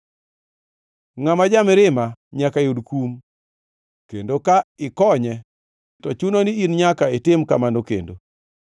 Ngʼat ma ja-mirima nyaka yud kum, kendo ka ikonye, to chuno ni nyaka itim kamano kendo.